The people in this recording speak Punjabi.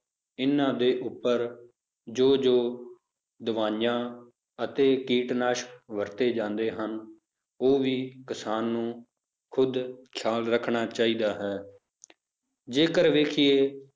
ਇਹਨਾਂ ਦੇ ਉੱਪਰ ਜੋ ਜੋ ਦਵਾਈਆਂ ਅਤੇ ਕੀਟਨਾਸ਼ਕ ਵਰਤੇ ਜਾਂਦੇ ਹਨ, ਉਹ ਵੀ ਕਿਸਾਨ ਨੂੰ ਖੁੱਦ ਖਿਆਲ ਰੱਖਣਾ ਚਾਹੀਦਾ ਹੈ ਜੇਕਰ ਵੇਖੀਏ